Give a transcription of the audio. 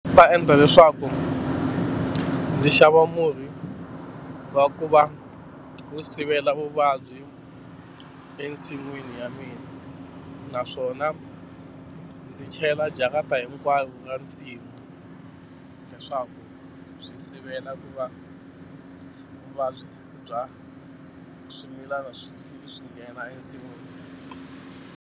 Ta endla leswaku ndzi xava murhi wa ku va wu sivela vuvabyi ensin'wini ya mina naswona ndzi chela jarata hinkwayo ra nsimu leswaku byi sivela ku va vuvabyi bya swimilana swi swi nghena ensin'wini.